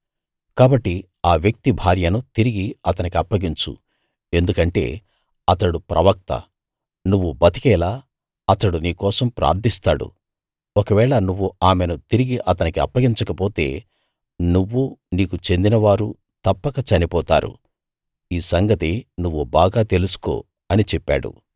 కాబట్టి ఆ వ్యక్తి భార్యను తిరిగి అతనికప్పగించు ఎందుకంటే అతడు ప్రవక్త నువ్వు బతికేలా అతడు నీ కోసం ప్రార్థిస్తాడు ఒకవేళ నువ్వు ఆమెను తిరిగి అతనికి అప్పగించకపోతే నువ్వూ నీకు చెందినవారూ తప్పక చనిపోతారు ఈ సంగతి నువ్వు బాగా తెలుసుకో అని చెప్పాడు